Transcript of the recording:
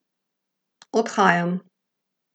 Odhajam.